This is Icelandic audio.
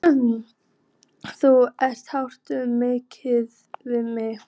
Þú ert hátíð miðað við mig.